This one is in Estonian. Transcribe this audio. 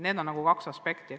Need on nagu kaks aspekti.